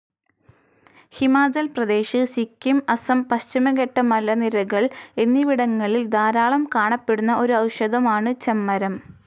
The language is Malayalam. ഹിമാചൽ പ്രദേശ്, സിക്കിം, അസം, പശ്ചിമഘട്ടമലനിരകൾ എന്നിവിടങ്ങളിൽ ധാരാളം കാണപ്പെടുന്ന ഒരു ഔഷധം ആണ് ചെമ്മരം.